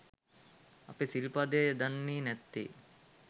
අපි සිල්පදය දන්නේ නැත්තේ